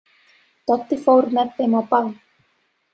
Doddi fór með þeim á ball.